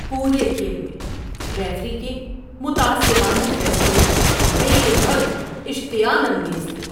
پورے کھیل میں ریفری کے متعصبانہ فیصلے بے حد اشتعال انگیز تھے۔